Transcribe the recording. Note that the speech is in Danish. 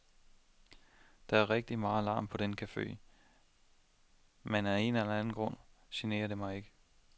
Der er rigtig meget larm på den cafe, men af en eller anden grund generer det mig ikke.